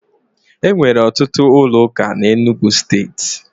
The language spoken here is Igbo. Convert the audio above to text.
E nwere ọtụtụ ụlọụka na Enugwu Steeti.